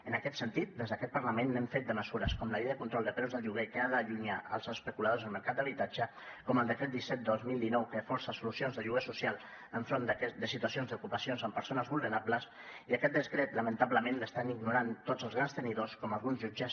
en aquest sentit des d’aquest parlament n’hem fet de mesures com la llei de control de preus del lloguer que ha d’allunyar els especuladors del mercat d’habitatge com el decret disset dos mil dinou que força solucions de lloguer social enfront de situacions d’ocupacions amb persones vulnerables i aquest decret lamentablement l’estan ignorant tots els grans tenidors com alguns jutges